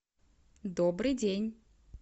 добрый день